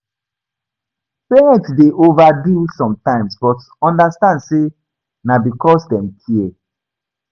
Parents dey overdo sometimes but understand say na because dem care